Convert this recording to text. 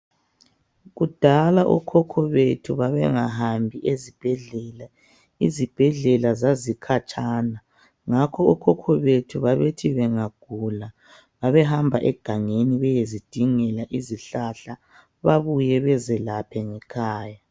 Kudala okhokho bethu babengahambi ezibhedlela izibhedlela zazikhatshana ngakho okhokho bethu babethi bengagula babehamba egangeni beyezidingela izihlahla babuye bezelaphe ngekhaya.